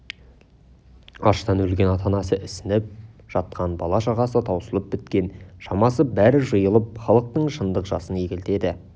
аштан өлген ата-анасы ісініп жатқан бала-шағасы таусылып біткен шамасы бәрі жиылып халықтың шындық жасын егілтеді